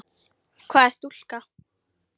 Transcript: Hvað er stúka?